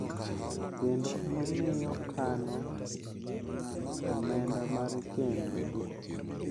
kendo omiyo kano omenda mar chenro gi,